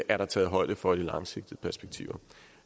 er der taget højde for i det langsigtede perspektiv